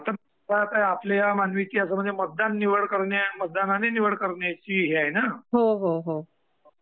हा म्हणजे आता आपली ही मतदानने निवड करण्याची हे आहे ना.